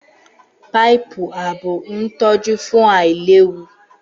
Páìpù ààbò ń tọ́jú fún àìlewu